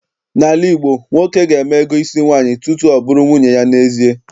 N'ala Igbo, nwoke ga-eme ego isi nwaanyị tutu ọ bụrụ nwunye ya n'ezie.